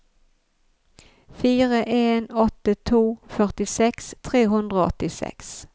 fire en åtte to førtiseks tre hundre og åttiseks